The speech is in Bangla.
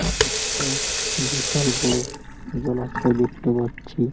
একটা বিশাল বড় জলাশয় দেখতে পাচ্ছি-ই ।